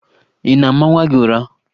Ị na-ama nwa gị ụra?